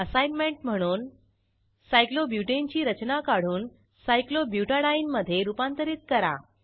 assignment म्हणून सायक्लोब्युटाने ची रचना काढून सायक्लोब्युटेडीने मधे रूपांतरित करा